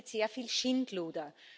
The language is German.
Hier passiert sehr viel Schindluder.